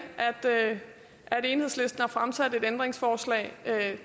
at enhedslisten har fremsat et ændringsforslag